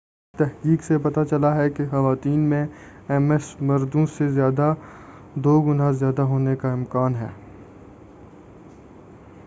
تحقیق سے پتہ چلا ہے کہ خواتین میں ایم ایس مردوں سے دو گنا زیادہ ہونے کا امکان ہوتا ہے